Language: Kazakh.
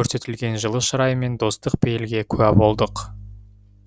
көрсетілген жылы шырай мен достық пейілге куә болдық